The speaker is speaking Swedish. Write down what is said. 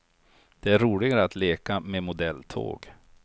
Det är roligare att leka med modelltåg.